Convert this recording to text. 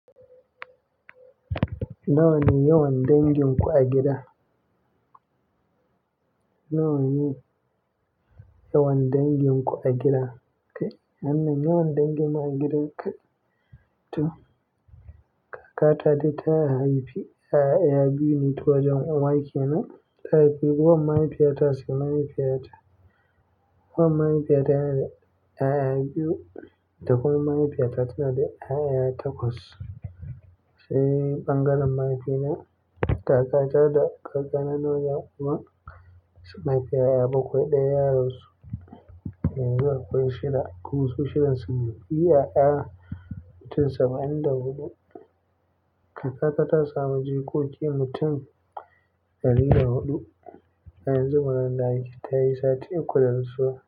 Nawa ne yawan danginku a gida? Nawa ne yawan danginku a gida? Kai, wannan yawan dangin mu a gida, kai? Toh! Kakata dai ta haifi 'ya'ya biyu ne ta wajan uwa kenan. Ta haifi wan mahaifiyata sai mahaifiyata. Wan mahaifiyata yana da 'ya'ya biyu, da kuma mahaifiyata tana da 'ya'ya takwas. Sai ɓangaren mahaifina, kakata da kakana na wajen uwa sun mahaifi 'ya'ya bakwai. Ɗaya ya rasu yanzu akwai shida. Kuma su shidan sune 'ya'ya mutum saba'in da huɗu. Kakata ta sami jikoki mutum ɗari da huɗu. Yanzu maganan da ake tayi sati uku da rasuwa.